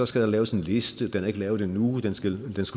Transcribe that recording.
skal der laves en liste den er ikke lavet endnu den skal